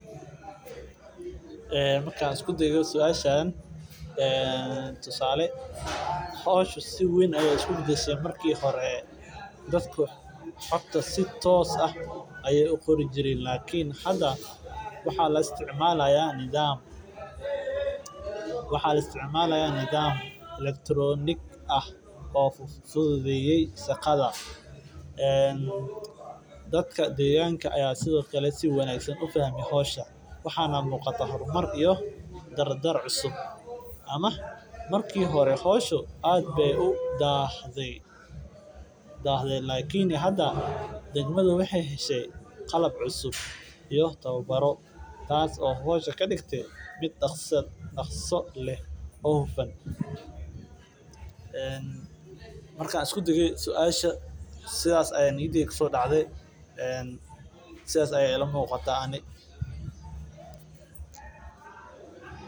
Markaan isku dayo suashan tusaale howsha sait ayeey isku badashe marki hore lakin hada waxaa la isticmaalaa teknolojiyada iyo wax cusub marki hore aad ayeey udahde Lakin hada bulshada saas ayaa iila muuqataa wax badan ayaa kajiraa meesha wax kale majiraan waa iska saas.